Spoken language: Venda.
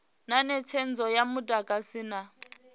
na netshedzo ya mudagasi na